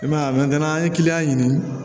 I man ye a an ye kiliyan ɲini